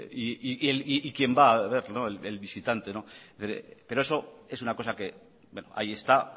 y quién va a verlo el visitante pero eso es una cosa que ahí está